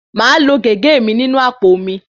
Màá lo gègé inú àpò mi.